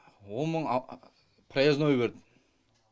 он мың проездной берді